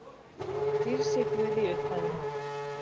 Dýrð sé Guði í upphæðum